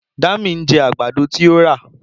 Dami ń jẹ àgbàdo tí ó rà.